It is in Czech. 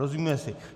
Rozumíme si?